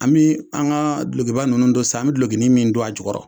An bɛ an ka dulɔkiba ninnu don san an bɛ dulɔkinin min don a jɔkɔrɔ